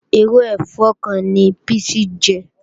Irú ẹ̀fọ́ kan ni píìsì jẹ́